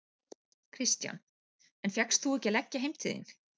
Kristján: En fékkst þú ekki að leggja heim til þín?